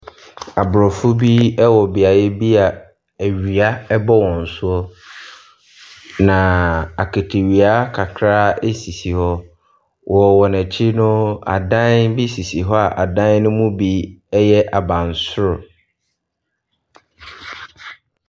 Aborɔfo bi wɔ beaeɛ bi a awia bɔ wɔn so. Na akatawia kakra sisi hɔ. Wɔ wɔn akyi no, adan bi sisi hɔ a adan no mu bi yɛ abansoro.